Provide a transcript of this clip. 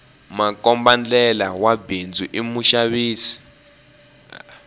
makombandlela wa bindzu i muxavi